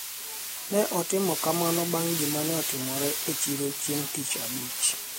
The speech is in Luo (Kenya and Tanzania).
ne otimo kamano bang' gima ne otimore e chiro chieng' tich abich